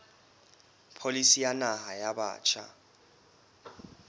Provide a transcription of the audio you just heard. pholisi ya naha ya batjha